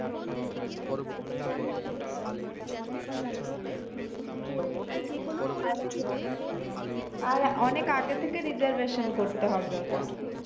আর অনেকআগে থেকে reservation করতে হবে ওটা